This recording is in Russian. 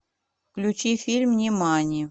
включи фильм нимани